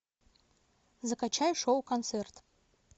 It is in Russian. закачай шоу концерт